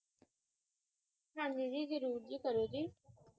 ਹਾਂਜੀ ਜੀ, ਜਰੂਰ ਜੀ, ਕਰੋ ਜੀ